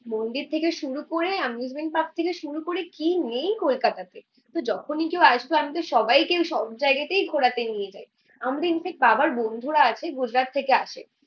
মন্দির থেকে শুরু করে, এমিউসমেন্ট পার্ক থেকে শুরু করে কি নেই কলকাতাতে। তো যখনি কেউ আসবে আমিতো সবাইকে সবজায়গাতেই ঘোরাতে নিয়ে যায়। আমাদের ইনফ্যাক্ট বাবার বন্ধুরা আছে গুজরাট থেকে আসে